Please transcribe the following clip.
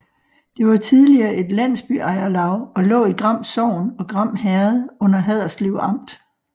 Det var tidligere et landsbyejerlav og lå i Gram Sogn og Gram Herred under Haderslev Amt